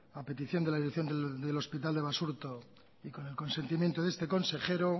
a petición de la dirección del hospital de basurto y con el consentimiento de este consejero